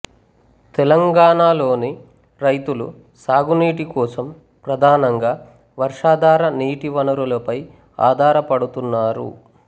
తెలంగాణలోని రైతులు సాగునీటి కోసం ప్రధానంగా వర్షాధార నీటి వనరులపై ఆధారపడుతున్నారు